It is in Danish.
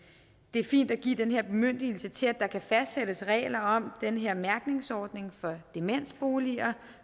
er fint at give den her bemyndigelse til at der kan fastsættes regler om den her mærkningsordning for demensboliger